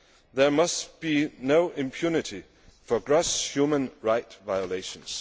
There must be no impunity for gross human rights violations.